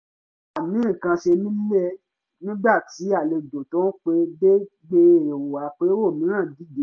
à ń kásẹ̀ nílẹ̀ nígbà tí àlejò tó pẹ́ dé gbé èrò àpérò mìíràn dìde